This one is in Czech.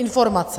Informace.